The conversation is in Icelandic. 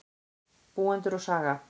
Búendur og saga.